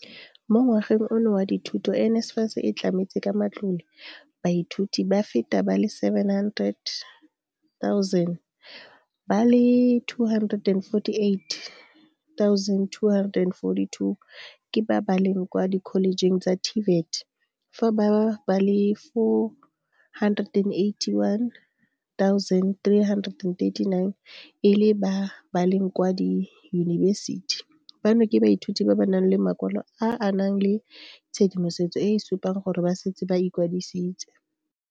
Mo ngwageng ono wa dithuto, NSFAS e tlametse ka matlole baithuti ba feta ba le 700 000, ba le 248 242 ke ba ba leng kwa dikholejeng tsa TVET fa ba le 481 339 e le ba ba leng kwa diyunibesiti, bano ke baithuti ba ba nang le makwalo a a nang le tshedimosetso e e supang gore ba setse ba ikwadisitse.